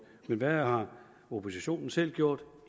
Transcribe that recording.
men hvad har oppositionen selv gjort